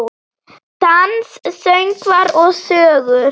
Dans, söngvar og sögur.